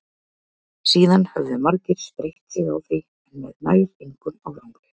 síðan höfðu margir spreytt sig á því en með nær engum árangri